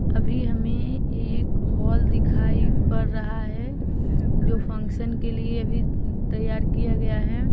अभी हमें एक हॉल दिखाई पड़ रहा है। जो फंक्शन के लिए भी तैयार किया गया है।